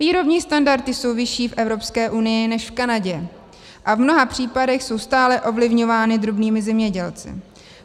Výrobní standardy jsou vyšší v Evropské unii než v Kanadě a v mnoha případech jsou stále ovlivňovány drobnými zemědělci.